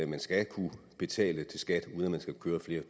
man skal kunne betale til skat uden at man skal køre flere